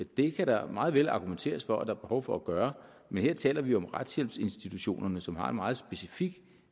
det kan der meget vel argumenteres for at der er behov for at gøre men her taler vi jo om retshjælpsinstitutionerne som har et meget specifikt